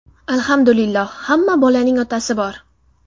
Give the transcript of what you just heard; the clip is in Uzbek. Alhamdulillah, hamma bolaning otasi bor.